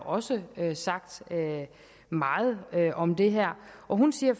også har sagt meget om det her og hun siger